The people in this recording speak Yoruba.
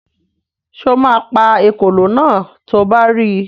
Sọ ma pa ekòló náà to bá ri?